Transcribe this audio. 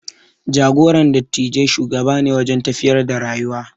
Jagoran dattijai shugaba ne wajen tafiyar da rayuwa.